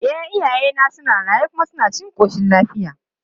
E, iyayena suna raye kuma suna cikin ƙoshin lafiya.